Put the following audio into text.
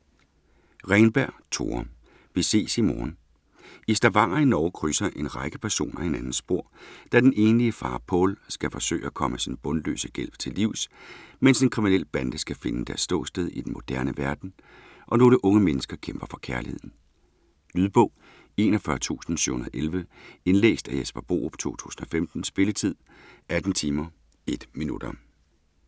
Renberg, Tore: Vi ses i morgen I Stavanger i Norge krydser en række personer hinandens spor, da den enlige far Pål skal forsøge at komme sin bundløse gæld til livs, mens en kriminel bande skal finde deres ståsted i den moderne verden, og nogle unge mennesker kæmper for kærligheden. Lydbog 41711 Indlæst af Jesper Borup, 2015. Spilletid: 18 timer, 1 minutter.